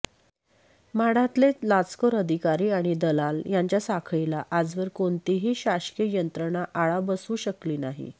म्हाडातले लाचखोर अधिकारी आणि दलाल यांच्या साखळीला आजवर कोणतीही शासकीय यंत्रणा आळा बसवू शकली नाही